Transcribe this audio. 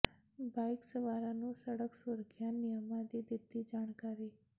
bike ਸਵਾਰਾਂ ਨੂੰ ਸੜਕ ਸੁਰੱਖਿਆ ਨਿਯਮਾਂ ਦੀ ਦਿੱਤੀ ਜਾਣਕਾਰੀ